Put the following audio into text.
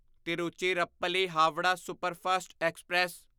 Tiruchirappalli Howrah superfast express